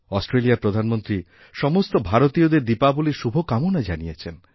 অস্ট্রেলিয়ার প্রধানমন্ত্রী সমস্ত ভারতীয়দের দীপাবলীর শুভকামনা জানিয়েছেন